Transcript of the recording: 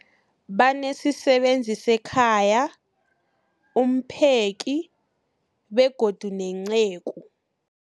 Banesisebenzi sekhaya, umpheki, begodu nenceku.